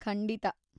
ಖಂಡಿತಾ.